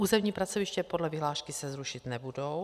Územní pracoviště podle vyhlášky se rušit nebudou.